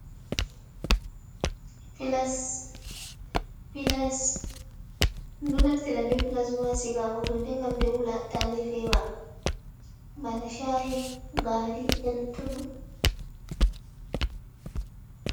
Filas-Filas: Ɗum ɗo naftira be filas bo ha sigago hunde ngam nde wula ta nde fewa bana sha’i, gari, e'lutoɗɗum.